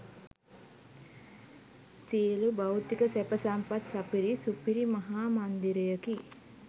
සියලු භෞතික සැප සම්පත් සපිරි සුපිරි මහා මන්දිරයකි.